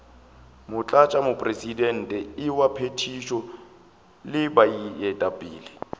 motlatšamopresidente wa phethišo le baetapele